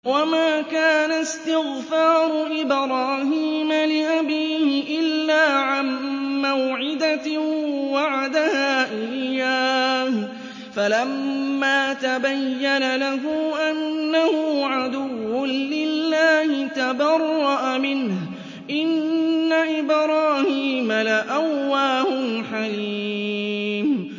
وَمَا كَانَ اسْتِغْفَارُ إِبْرَاهِيمَ لِأَبِيهِ إِلَّا عَن مَّوْعِدَةٍ وَعَدَهَا إِيَّاهُ فَلَمَّا تَبَيَّنَ لَهُ أَنَّهُ عَدُوٌّ لِّلَّهِ تَبَرَّأَ مِنْهُ ۚ إِنَّ إِبْرَاهِيمَ لَأَوَّاهٌ حَلِيمٌ